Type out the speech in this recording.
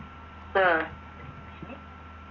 ഉം